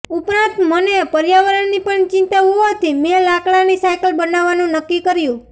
ઉપરાંત મને પર્યાવરણની પણ ચિંતા હોવાથી મેં લાકડાની સાઇકલ બનાવવાનું નક્કી કર્યું